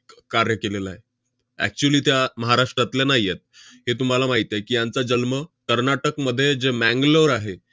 कार्य केलेलं आहे. actually त्या महाराष्ट्रातल्या नाही आहेत. हे तुम्हाला माहित आहे की, यांचा जन्म कर्नाटकमध्ये जे मँगलोर आहे,